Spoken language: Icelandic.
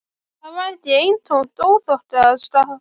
Það var ekki af eintómum óþokkaskap.